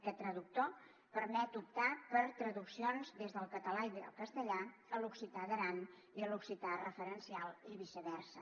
aquest traductor permet optar per traduccions des del català i el castellà a l’occità d’aran i a l’occità referencial i viceversa